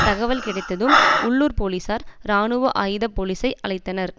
தகவல் கிடைத்ததும் உள்ளூர் போலீசார் இராணுவ ஆயுத போலீஸை அழைத்தனர்